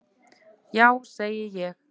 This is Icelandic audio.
Já segi ég.